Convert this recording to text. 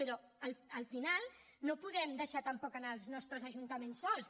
però al final no podem deixar tampoc els nostres ajuntaments sols